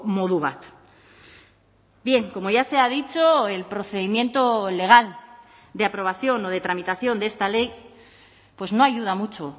modu bat bien como ya se ha dicho el procedimiento legal de aprobación o de tramitación de esta ley pues no ayuda mucho